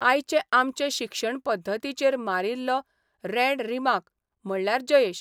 आयचे आमचे शिक्षण पद्दतीचेर मारिल्लो रँड रिमार्क म्हणल्यार जयेश.